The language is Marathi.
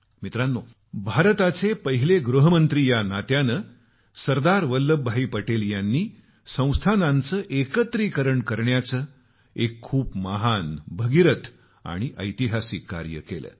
मित्रानो भारताचे पहिले गृहमंत्री या नात्याने सरदार वल्लभभाई पटेल यांनी संस्थानांचं एकत्रीकरण करण्याचं एक खूप महान भगीरथ आणि ऐतिहासिक कार्य केलं